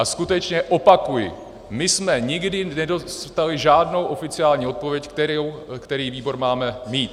A skutečně opakuji, my jsme nikdy nedostali žádnou oficiální odpověď, který výbor máme mít.